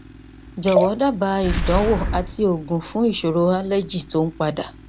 jọwọ daba ìdánwò àti oògùn fún isoro allergy ti o n pada